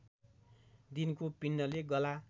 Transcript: दिनको पिण्डले गला